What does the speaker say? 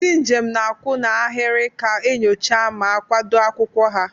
Ndị njem na-akwụ n'ahịrị ka enyocha ma kwado akwụkwọ ha.